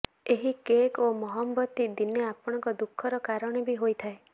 ଏହି କେକ୍ ଓ ମହମବତୀ ଦିନେ ଆପଣଙ୍କ ଦୁଃଖର କାରଣ ବି ହୋଇଥାଏ